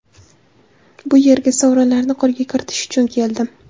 Bu yerga sovrinlarni qo‘lga kiritish uchun keldim.